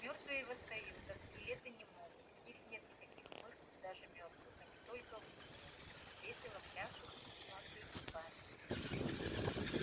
мёртвые восстают а скелеты не могут у них нет никаких мышц даже мёртвых они только в мультиках весело пляшут и клацают зубами